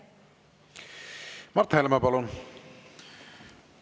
Mart Helme, palun!